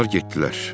Onlar getdilər.